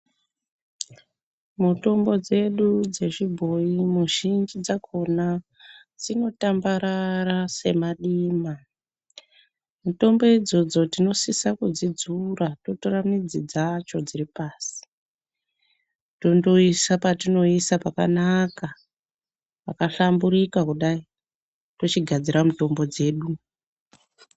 Mutombo dzedu dzezvibhoyi muzhinji dzakhonaa dzinotambarara semadima. Mitombo idzodzo tinosisa kudzidzura torora midzi dzacho dziri pasi patinoisa pakanaka pakashamburika kudai tochigadzira mitombo dzedu.